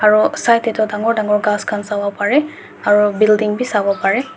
aru side te tu dangor dangor gaas khan sabu pare aru building bhi sabu pare.